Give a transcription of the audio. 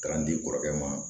K'an di kɔrɔkɛ ma